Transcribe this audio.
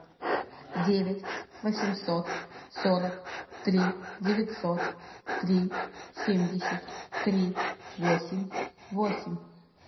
девять восемьсот сорок три девятьсот три семьдесят три восемь восемь